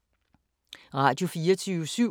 Radio24syv